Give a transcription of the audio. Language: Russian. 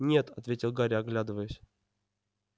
нет ответил гарри оглядываясь